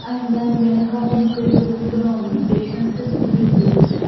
and దాని వెనకాల ఇంకా ఏదో రూమ్ కూడా ఉంది పేషంట్స్ ఉండి ఉండొచ్చు --